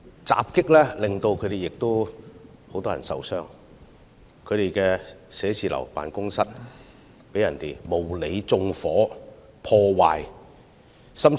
襲擊事件令多人受傷，他們的辦公室被人縱火、破壞。